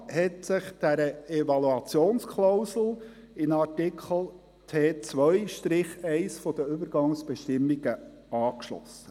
Der Regierungsrat hat sich dieser Evaluationsklausel in Artikel T2-1 der Übergangsbestimmungen angeschlossen.